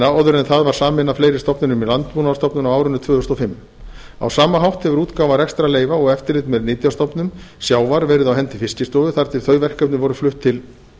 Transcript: áður en það var sameinað fleiri stofnunum í landbúnaðarstofnun á árinu tvö þúsund og fimm á sama hátt hefur útgáfa rekstrarleyfa og eftirlit með nytjastofnum sjávar verið á hendi fiskistofu þar til þau verkefni voru flutt til